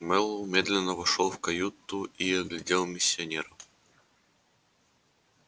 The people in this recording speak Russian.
мэллоу медленно вошёл в каюту и оглядел миссионер